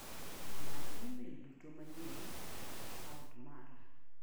Many imel duto manyien e a kaunt mara.